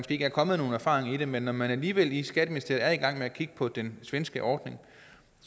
ikke er kommet nogen erfaringer med det men når man alligevel i skatteministeriet er i gang med at kigge på den svenske ordning